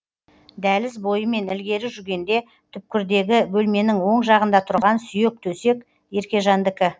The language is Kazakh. дәліз бойымен ілгері жүргенде түпкірдегі бөлменін оң жағында тұрған сүйек төсек еркежандікі